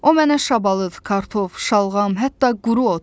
O mənə şabalıd, kartof, şalğam, hətta quru ot.